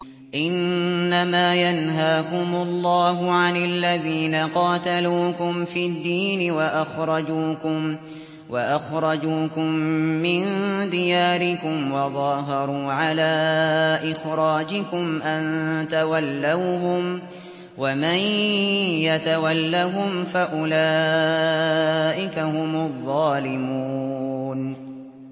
إِنَّمَا يَنْهَاكُمُ اللَّهُ عَنِ الَّذِينَ قَاتَلُوكُمْ فِي الدِّينِ وَأَخْرَجُوكُم مِّن دِيَارِكُمْ وَظَاهَرُوا عَلَىٰ إِخْرَاجِكُمْ أَن تَوَلَّوْهُمْ ۚ وَمَن يَتَوَلَّهُمْ فَأُولَٰئِكَ هُمُ الظَّالِمُونَ